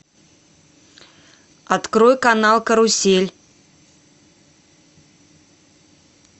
открой канал карусель